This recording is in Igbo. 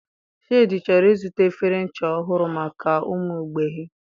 Shade chọrọ ịzụta efere ncha ọhụrụ maka ụmụ mgbei.